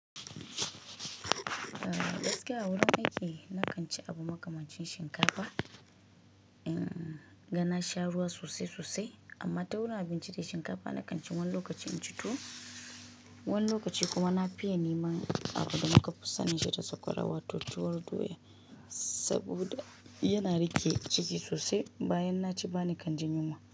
Gaskiya a wurin aiki, na kan ci abu makamancin shinkafa in ga na sha ruwa sosai sosai. Amma ta wurin abinci dai shinkafa na kan ci wani lokaci in ci tuwo. Wani lokaci kuma na fiye niman abu da muka fu sanninshi da sakwara wato tuwor doya saboda yana riƙe ciki sosai bayan na ci bani kan ji yunwa.